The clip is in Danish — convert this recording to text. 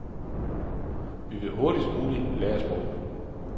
Vi vil hurtigst muligt lære sproget.